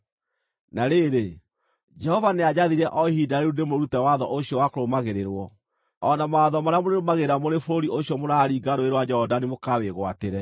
Na rĩrĩ, Jehova nĩanjathire o ihinda rĩu ndĩmũrute watho ũcio wa kũrũmagĩrĩrwo, o na mawatho marĩa mũrĩrũmagĩrĩra mũrĩ bũrũri ũcio mũraringa Rũũĩ rwa Jorodani mũkawĩgwatĩre.